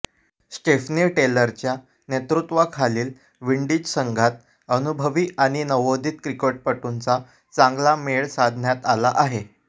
Stephanie टेलरच्या नेतृत्वाखालील Windies संघात अनुभवी आणि नवोदित क्रिकेटपटूंचा चांगला मेळ साधण्यात आला आहे